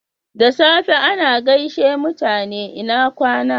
Da safe ana gaishe mutane "lna kwana."